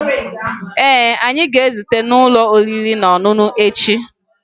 Ee, anyị ga-ezute n'ụlọ oriri na ọṅụṅụ echi